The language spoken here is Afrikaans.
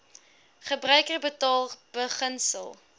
gebruiker betaal beginsel